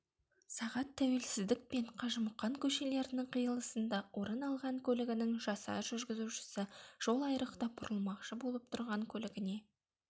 сағат тәуелсіздік пен қажымұқан көшелерінің қиылысында орын алған көлігінің жасар жүргізушісі жол айрықтабұрылмақшы болып тұрған көлігіне